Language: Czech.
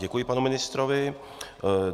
Děkuji panu ministrovi.